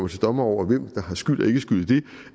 til dommer over hvem der har skyld og ikke skyld i det